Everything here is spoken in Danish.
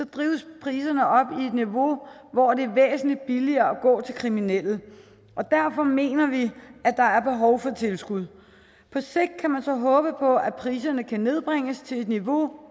drives priserne op i et niveau hvor det er væsentlig billigere at gå til kriminelle derfor mener vi at der er behov for tilskud på sigt kan man så håbe på at priserne kan nedbringes til et niveau